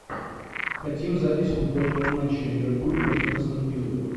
хотим запись футбольного матча ливерпуль против астен виллы